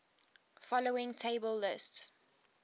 following table lists